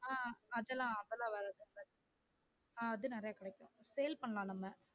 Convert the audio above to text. ஆஹ் அதுலாம் அது நிறைய கிடைக்கும் sale பண்ணலாம் நம்ம